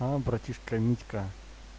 о братишка митька